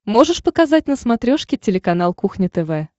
можешь показать на смотрешке телеканал кухня тв